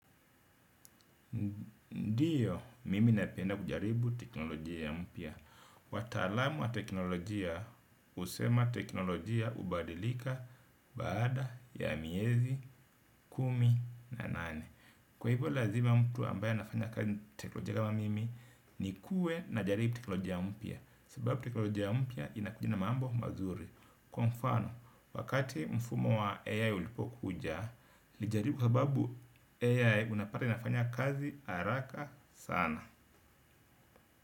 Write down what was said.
Ndiyo mimi napenda kujaribu teknolojia mpya. Wataalam wa teknolojia husema teknolojia hubadilika baada ya miezi kumi na nane. Kwa hivyo lazima mtu ambaye anafanya kazi teknolojia kama mimi nikue najaribu teknolojia mpya kwa sababu teknolojia mpya inakuja na mambo mazuri. Kwa mfano, wakati mfumo wa AI ulipokuja, nilijaribukwa sababu AI unapata inafanya kazi haraka sana.